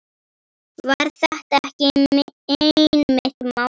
Var þetta ekki einmitt málið?